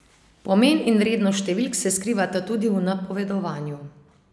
Pomen in vrednost številk se skrivata tudi v napovedovanju.